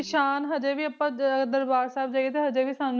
ਮੌਕੇ ਦੇ ਨਿਸ਼ਾਨ ਹਜੇ ਵੀ ਆਪਾਂ ਦਰਬਾਰ ਸਾਹਿਬ ਦੇਖਦੇ ਹਾਂ ਤਾਂ ਸਾਨੂੰ ਨਿਸ਼ਾਨ ਦਿਖਦੇ ਹੈ